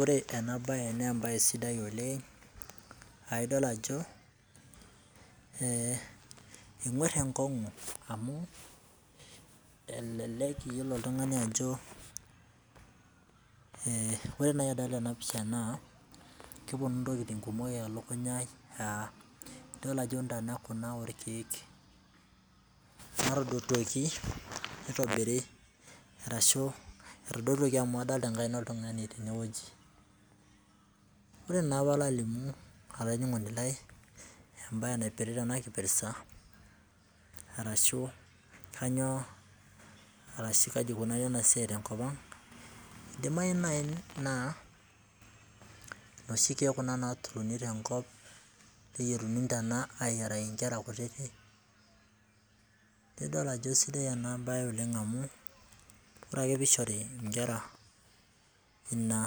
Ore ena baye naa embaye sidai oleng'. Aidol ajo enguar enkong'u amu elelek oltung'ani iyiolo ajo, kore naaji renadol ena pisha naa kepuonu intokitin kumok elukunya aai amu, idol ajo intana kuna oolkeek natodotuoki neitobiri, ashu etadotuoki amu adolita enkaina oltung'ani tene wueji. Ore naa pee ala alimu olainining'oni lai embaye naipirta enakipirta arashu kainyoo arashu eneikunaari ena siai te enkop ang' , eidimayu nai naa, inooshi keek kuna naadotuni tenkop neitayuni intana ayieraki inkera kutitik, nidol ajo sidai ena baye oleng' amu, ore ake pee eishori inkera nena